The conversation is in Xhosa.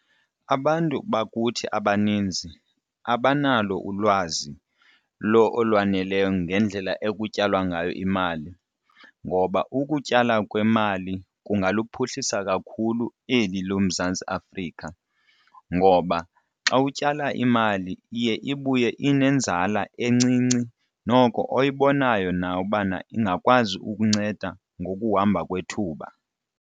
Abantu bakuthi abaninzi abanalo ulwazi olwaneleyo ngendlela ekutyalwa ngayo imali ngoba ukutyala kwemali kungaluphuhlisa kakhulu eli loMzantsi Afrika, ngoba xa utyala imali iye ibuye inenzala encinci noko oyibonayo nawe ubana ingakwazi ukunceda ngokuhamba kwethuba.